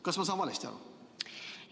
Kas ma sain valesti aru?